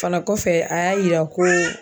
Fana kɔfɛ a y'a yira ko